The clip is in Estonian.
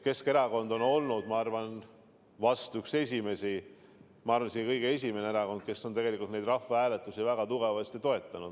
Keskerakond on vahest olnud üks esimesi, ma arvan, et isegi kõige esimene erakond, kes on tegelikult rahvahääletusi väga tugevasti toetanud.